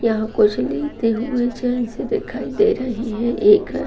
यहाँ कुछ लेते हुए जेंट्स दिखाई दे रहे हैं एक अ